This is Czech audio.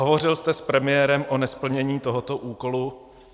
Hovořil jste s premiérem o nesplnění tohoto úkolu?